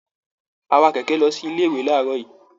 A wá kẹkẹ lọ sí ilé ìwé laarọ yìí.